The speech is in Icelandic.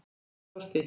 Ég er í losti.